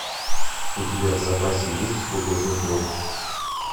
у тебя в запасе есть художник вор